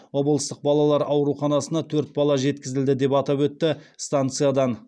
облыстық балалар ауруханасына төрт бала жеткізілді деп атап өтті станциядан